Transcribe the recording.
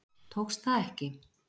Tókst það ekki.